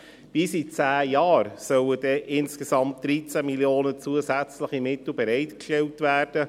Bis in zehn Jahren sollen insgesamt 13 Mio. Franken zusätzliche Mittel bereitgestellt werden.